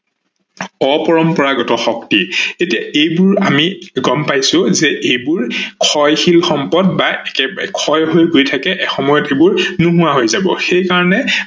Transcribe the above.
অপৰম্পৰাগত শক্তি, এতিয়া এইবোৰ আমি গম্ পাইছো যে এইবোৰ ক্ষয়শীল সম্পদ বা ক্ষয় হৈ গৈ থাকে এসময়ত এইবোৰ নোহোৱা হৈ যাব সেইকাৰনে